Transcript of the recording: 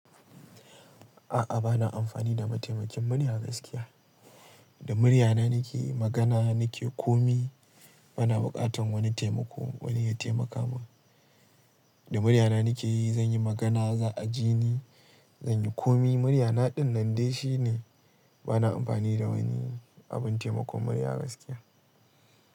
A'a, ba na amfani da mataimakin murya gaskiya. Da muryana nake magana, nake komi. Bana buƙatar wani taimako, wani ya taimaka mun. Da muryana nakeyi zan yi magana, za a ji ni, zan yi komi. Muryana dinnan dai shine. Bana amfani da wani abun taimakon murya gaskiya.